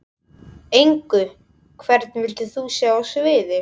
Engu Hvern vildir þú sjá á sviði?